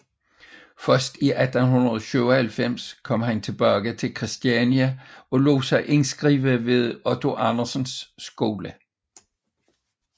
Først i 1897 kom han tilbage til Kristiania og lod sig indskrive ved Otto Andersens skole